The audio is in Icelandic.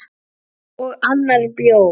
Og annar bjór.